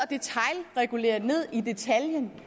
regulere ned i detaljen